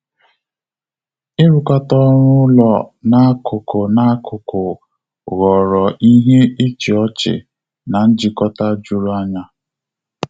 Irukata ọrụ ụlọ na akuku na akuku ghọrọ ihe ịchị ọchị na njikota jụrụ anya